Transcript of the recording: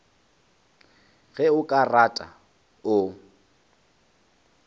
ge o ka rata o